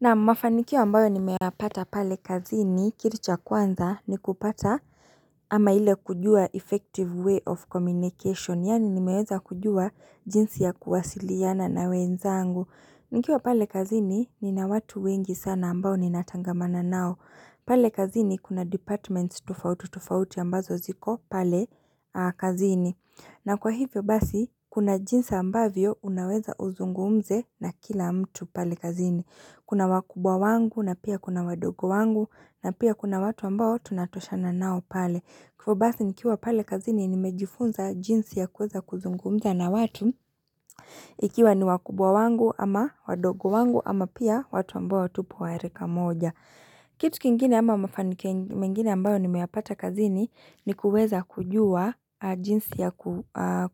Naam mafanikio ambayo nimeyapata pale kazini kitu cha kwanza ni kupata ama ile kujua effective way of communication yaani nimeweza kujua jinsi ya kuwasiliana na wenzangu. Nikiwa pale kazini nina watu wengi sana ambao ninatangamana nao. Pale kazini kuna departments tofauti tofauti ambazo ziko pale kazini. Na kwa hivyo basi kuna jinsi ambavyo unaweza uzungumze na kila mtu pale kazini. Kuna wakubwa wangu na pia kuna wadogo wangu na pia kuna watu ambao tunatoshana nao pale. Hivo basi nikiwa pale kazini nimejifunza jinsi ya kuweza kuzungumza na watu. Ikiwa ni wakubwa wangu ama wadogo wangu ama pia watu ambao tupo wa rika moja. Kitu kingine ama mafanikio mengine ambayo nimeyapata kazini ni kuweza kujua jinsi ya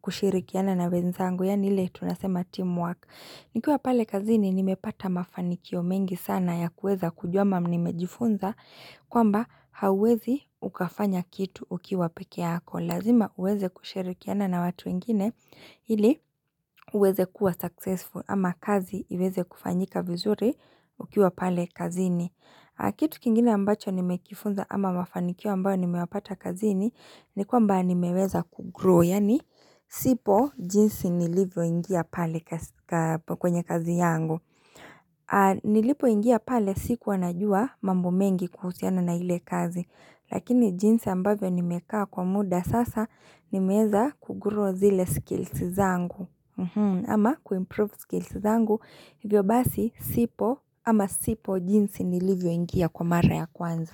kushirikiana na wenzangu yaani ile tunasema teamwork. Nikiwa pale kazini nimepata mafanikio mengi sana ya kuweza kujua ama nimejifunza kwamba hawezi ukafanya kitu ukiwa peke yako. Lazima uweze kushirikiana na watu wengine ili uweze kuwa successful ama kazi iweze kufanyika vizuri ukiwa pale kazini. Kitu kingine ambacho nimekifunza ama mafanikio ambayo nimeyapata kazini ni kwamba nimeweza kugrow, yaani sipo jinsi nilivyo ingia pale kwenye kazi yangu. Nilipo ingia pale sikuwa najua mambo mengi kuhusiana na ile kazi, lakini jinsi ambavyo nimekaa kwa muda sasa nimeweza kugrow zile skills zangu. Ama kuimprove skills zangu hivyo basi sipo ama sipo jinsi nilivyo ingia kwa mara ya kwanza.